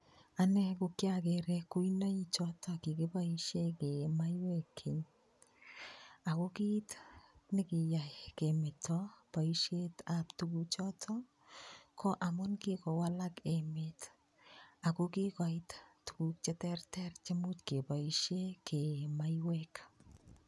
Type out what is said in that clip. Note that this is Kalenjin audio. Ane ko kyakere kuinoik choto kikiboisie kee maiywek keny, ako kiit ne kiyai kemeto boisietab tukuchoto, ko amun kikowalak emet, ako kikoit tukuk che terter chemuch keboisie kee maiywek.